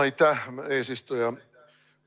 Aitäh, eesistuja!